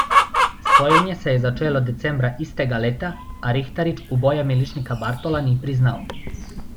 Sojenje se je začelo decembra istega leta, a Rihtarič uboja miličnika Bartola ni priznal.